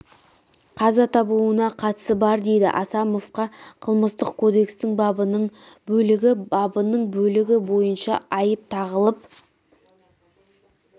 қаза табуына қатысы бар дейді асамовқа қылмыстық кодекстің бабының бөлігі бабының бөлігі бойынша айып тағылып